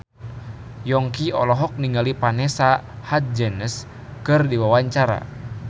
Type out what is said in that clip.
Yongki olohok ningali Vanessa Hudgens keur diwawancara